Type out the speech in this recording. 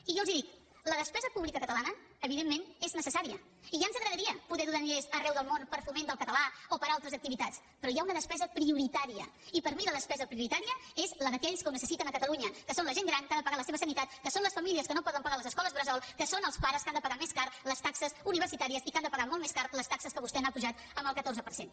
i jo els dic la despesa pública catalana evidentment és necessària i ja ens agradaria poder donar diners arreu del món per al foment del català o per a altres activitats però hi ha una despesa prioritària i per mi la despesa prioritària és la d’aquells que ho necessiten a catalunya que són la gent gran que ha de pagar la seva sanitat que són les famílies que no poden pagar les escoles bressol que són els pares que han de pagar més cares les taxes universitàries i que han de pagar molt més cares les taxes que vostès han apujat el catorze per cent